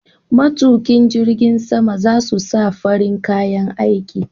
Matuƙin jirgin sama za su sa farin kayan aiki.